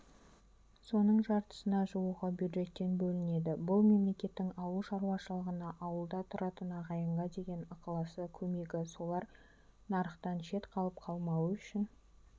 соның жартысына жуығы бюджеттен бөлінеді бұл мемлекеттің ауыл шаруашылығына ауылда тұратын ағайынға деген ықыласы көмегі солар нарықтан шет қалып қалмауы үшін